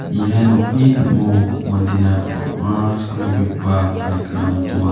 ia nokni ning·o mandena bang·a jakkaltobegipa baik rang donga.